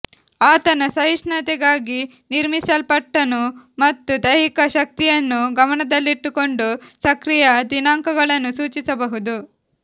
ಆತನು ಸಹಿಷ್ಣುತೆಗಾಗಿ ನಿರ್ಮಿಸಲ್ಪಟ್ಟನು ಮತ್ತು ದೈಹಿಕ ಶಕ್ತಿಯನ್ನು ಗಮನದಲ್ಲಿಟ್ಟುಕೊಂಡು ಸಕ್ರಿಯ ದಿನಾಂಕಗಳನ್ನು ಸೂಚಿಸಬಹುದು